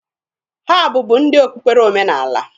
Ha bụbu ndị okpukpere omenaala.